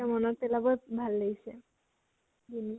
মনত পেলাবৈ ভাল লাগিছে বুলু